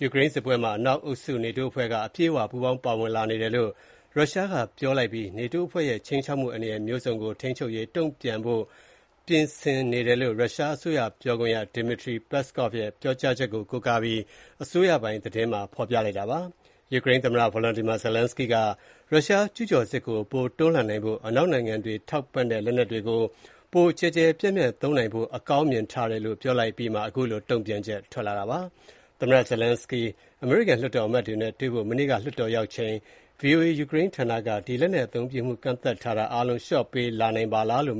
ယူကရိန်းစစ်ပွဲမှာ အနောက်အုပ်စုနေတိုးအဖွဲ့က အပြည့်အဝ ပူးပေါင်းပါဝင်လာနေတယ်လို့ ရုရှားက ပြောကြားလိုက်ပြီး နေတိုးအဖွဲ့ရဲ့ ခြိမ်းချောက်မှုအန္တရာယ်မျိုးစုံကို ထိန်းချုပ်နိုင်ရေး တုန့်ပြန်ဖို့ ပြင်ဆင်နေတယ်လို့ ရုရှားအစိုးရ ပြောခွင့်ရ Dmitry Peskov ရဲ့ ပြောဆိုချက်ကို ကိုးကားပြီး အစိုးရပိုင်သတင်းမှာ ရေးပါတယ်။ ယူကရိန်းသမ္မတ Volodymyr Zelenskyy က ရုရှားကျုးကျော်စစ်ကို ပိုတွန်းလှန်နိုင်ဖို့၊ အနောက်နိုင်ငံတွေထောက်ပံ့တဲ့ လက်နက်တွေကို ပိုကျယ်ကျယ်ပြန့်ပြန့် သုံးနိုင်ဖို့ အကောင်းမြင်ထားတယ်လို့ ပြောလိုက်တာပါ။ သမ္မတ Zelenskyy အမေရိကန်လွှတ်တော်အမတ်တွေနဲ့တွေ့ဖို့ မနေ့က လွှတ်တော် ရောက်လာချိန်၊ ဒီလက်နက်အသုံးပြုမှုကန့်သတ်ထားတာအားလုံး လျှော့ပေးလာနိုင်ပါလားလို့